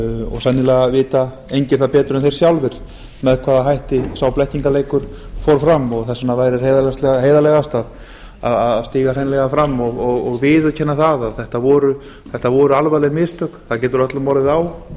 og sennilega vita engir það betur en þeir sjálfir með hvaða hætti sá blekkingarleikur fór fram þess vegna væri heiðarlegast að stíga hreinlega fram og viðurkenna það að þetta voru alvarleg mistök það getur öllum orðið á